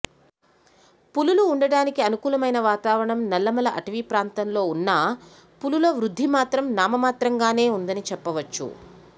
పులులు ఉండటానికి అనుకూలమైన వాతవరణం నల్లమల అటవి ప్రాంతంలో ఉన్నా పులుల వృద్ధి మాత్రం నా మమాత్రంగానే ఉందని చెప్పవచ్చు